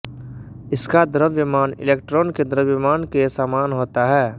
इसका द्रव्यमान इलेक्ट्रोन के द्रव्यमान के समान होता है